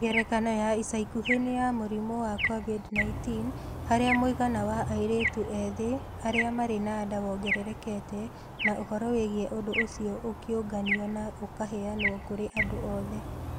Ngerekano ya ica ikuhĩ nĩ ya mũrimũ wa COVID-19, harĩa mũigana wa airĩtu ethĩ arĩa marĩ na nda wongererekete, na ũhoro wĩgiĩ ũndũ ũcio ũkĩũnganio na ũkĩheanwo kũrĩ andũ othe.